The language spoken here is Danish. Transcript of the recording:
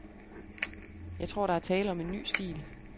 Jeg tror, der er tale om en ny stil.